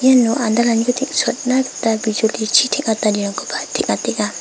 iano andalaniko teng·suatna gita bijolichi teng·atanirangkoba teng·atenga.